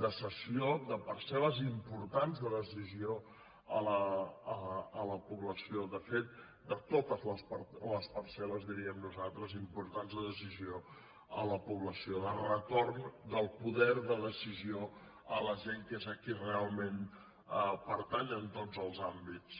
de cessió de parcelles importants de decisió a la població de fet de totes les parcel·les diríem nosaltres importants de decisió a la població de retorn del poder de decisió a la gent que és a qui realment pertany en tots els àmbits